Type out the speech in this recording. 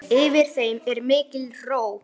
Yfir þeim er mikil ró.